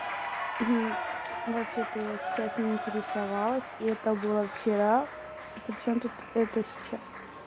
вообще-то я сейчас не интересовалась и это было вчера причём тут это сейчас